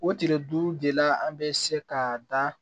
O tile duuru de la an bɛ se ka dan